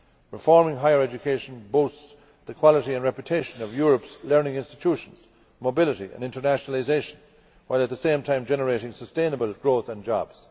Reforming higher education boosts the quality and reputation of Europe's learning institutions, mobility and internationalisation, while at the same time generating sustainable growth and jobs.